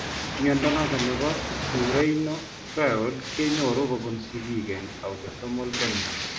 Mnyondo noton nebo Currarino triad kenyoru kobun sigiik en autosomal dominant